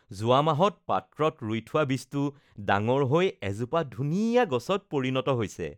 যোৱা মাহত পাত্ৰত ৰুই থোৱা বীজটো ডাঙৰ হৈ এজোপা ধুনীয়া গছত পৰিণত হৈছে